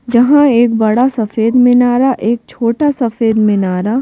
जहां एक बड़ा सफेद मिनारा एक छोटा सफेद मिनारा--